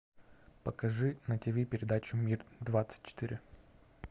покажи на тв передачу мир двадцать четыре